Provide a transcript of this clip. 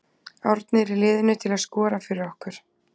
Árni er í liðinu til að skora fyrir okkur.